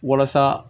Walasa